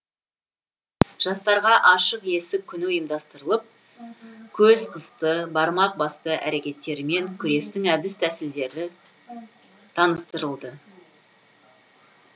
жастарға ашық есік күні ұйымдастырылып көз қысты бармақ басты әрекеттермен күрестің әдіс тәсілдері таныстырылды